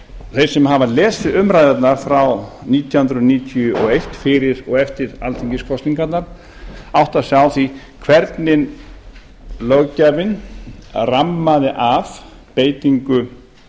þeir sem hafa lesið umræðurnar frá nítján hundruð níutíu og eitt fyrir og eftir alþingiskosningarnar átta sig á því hvernig löggjafinn rammaði af beitingu